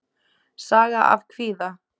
Saga af kvíða.